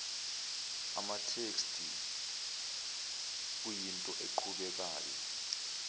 amatheksthi kuyinto eqhubekayo